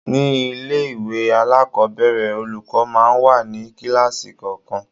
Ní ilé-ìwé alakobere, olùkọ́ máa ń wà ní kíláàsì kọ̀ọ̀kan.